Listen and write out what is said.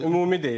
Ümumi deyirdi.